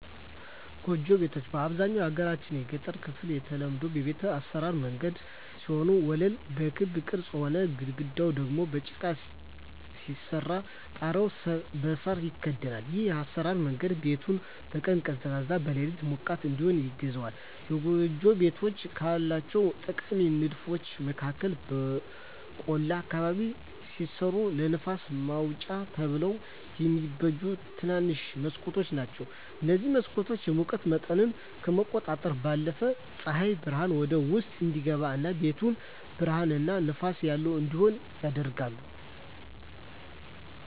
ጎጆ ቤት በአብዛኛው የሀገራችን የገጠር ክፍል የተለመዱ የቤት አሰራር መንገድ ሲሆን ወለሉ በክብ ቅርጽ ሆኖ፣ ግድግዳው ደግሞ በጭቃ ሲሰራ ጣሪያው በሳር ይከደናል። ይህ የአሰራር መንገድ ቤቱን በቀን ቀዝቃዛ፣ በሌሊት ሞቃት እዲሆን ያግዘዋል። የጎጆ ቤቶች ካላቸው ጠቃሚ ንድፎች መካከል በቆላ አካባቢ ሲሰሩ ለንፋስ ማውጫ ተብለው የሚበጁ ትንንሽ መስኮቶች ናቸዉ። እነዚህ መስኮቶች የሙቀት መጠንን ከመቆጣጠራቸው ባለፈም ፀሐይ ብርሃን ወደ ውስጥ እንዲገባ እና ቤቱን ብሩህ እና ንፋስ ያለው እንዲሆን ያደርጋሉ።